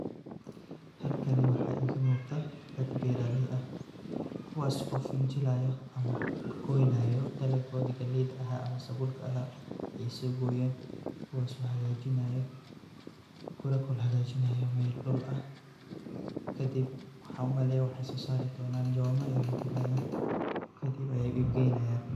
Halkani waxa iga muqda dad beeraley ah kuwaas oo finjilaya ama goynayo dalagoodi galleyda aha ama sabulka aha ay soo goyen hagajinaya gura ku hagajinayi mel dhul ah kadib waxan umaleya waxay soo sari donan choma iyo kuraya kadib aya ib geynayan